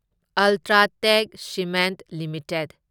UltraTech cement limited